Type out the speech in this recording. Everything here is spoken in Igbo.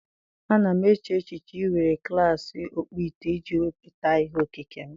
A na m eche echiche iwere klas ọkpụite iji wepụta ihe okike m!